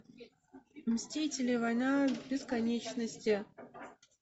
мстители война бесконечности